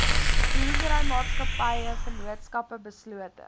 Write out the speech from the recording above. boerderymaatskappye vennootskappe beslote